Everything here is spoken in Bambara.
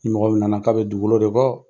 Ni mɔgɔ min na na k'a bɛ dugukolo de bɔ